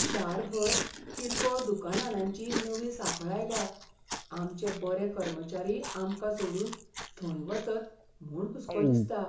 शारभर किरकोळ दुकानांनांची नवी सांखळ आयल्या आमचें बरे कर्मचारी आमकां सोडून थंय वचत म्हूण हुस्को दिसता.